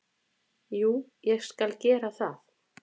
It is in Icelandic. Jú, ég skal gera það.